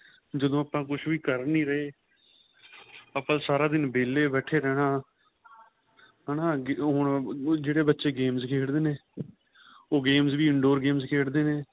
ਜਦੋਂ ਆਪਾਂ ਕੁੱਛ ਵੀ ਕਰ ਨਹੀਂ ਰਹੇ ਆਪਾਂ ਸਾਰਾ ਦਿਨ ਵਹਿਲੇ ਬੈਠੇ ਰਹਿਣਾ ਹੈਨਾ ਹੁਣ ਜਿਹੜੇ ਬੱਚੇ games ਖੇਡਦੇ ਨੇ ਉਹ games ਵੀ in door ਖੇਡਦੇ ਨੇ